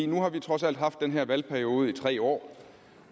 nu har vi trods alt haft den her valgperiode i tre år